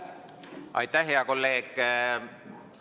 Aitäh, hea kolleeg!